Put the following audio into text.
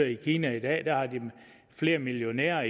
i kina i dag har flere millionærer